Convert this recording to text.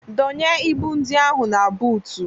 Dọnye ibu ndị ahụ na buutu!